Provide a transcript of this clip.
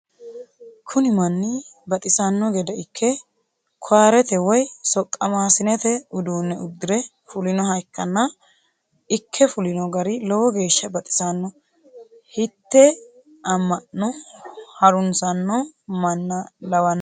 Kuni manni baxisanno gede ikke koyarete woye soqqamaasinete uduunne uddire fulinoha ikkanna ikke fulino gari lowo geeshsha baxisanno hitte amma'no harunssanno manna lawannohe?